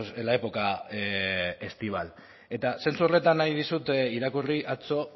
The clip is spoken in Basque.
en la época estival eta zentzu horretan nahi dizut irakurri atzo